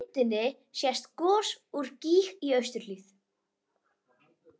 Yfir einum sprotanum var lítil andlitsmynd teiknuð með blýanti.